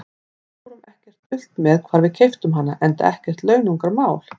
Við fórum ekkert dult með hvar við keyptum hana, enda ekkert launungarmál.